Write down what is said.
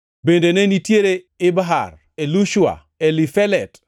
Bende ne nitiere Ibhar, Elishua, Elifelet,